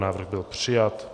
Návrh byl přijat.